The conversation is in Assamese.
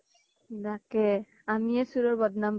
তাকে আমিয়ে চুৰৰ বদ্নাম পাই